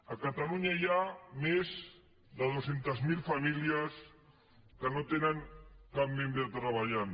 a catalunya hi ha més de dos cents miler famílies que no tenen cap membre treballant